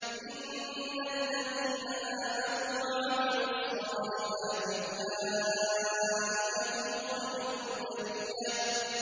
إِنَّ الَّذِينَ آمَنُوا وَعَمِلُوا الصَّالِحَاتِ أُولَٰئِكَ هُمْ خَيْرُ الْبَرِيَّةِ